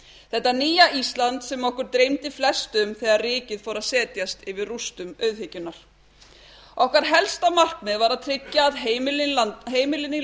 þetta nýja ísland sem okkur dreymdi flest um þegar rykið fór að setjast yfir rústum auðhyggjunnar okkar helst markmið var að tryggja að heimilin í